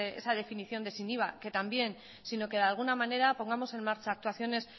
esa definición de sin iva que también sino que de alguna manera pongamos en marcha actuaciones